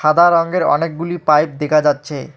সাদা রঙ্গের অনেকগুলি পাইপ দেখা যাচ্চে।